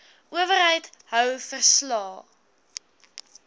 owerheid hou verslae